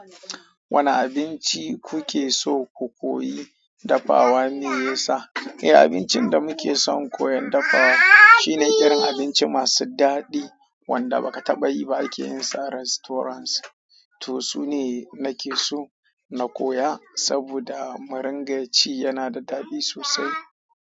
Wanne abinci kuke so ku koyi dafawa ne meyasa? Eh abincin da muke son koyan dafawa shine irin abinci masu daɗi wanda baka taɓa yi ba akeyin sa a restaurant to su ne nake so na koya saboda murin ga ci yana da daɗi sosai.